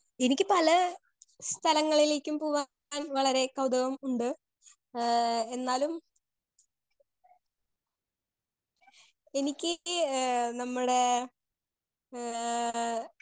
speaker 2 എനിക്ക് പല സ്ഥലങ്ങളിളേക്കും പോവാൻ വളരെ കൗതുകം ഉണ്ട് ഏഹ് എന്നാലും എനിക്ക് ഏ നമ്മളെ ഏഹ്